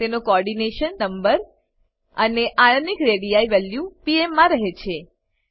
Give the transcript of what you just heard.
તેનો coordination number અને ionic radii value pm માં રહે છે